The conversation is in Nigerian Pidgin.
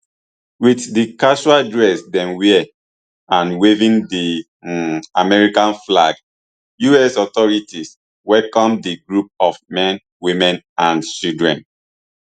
wit di casual dress dem wear and waving di um american flags us authorities welcome di group of men women and children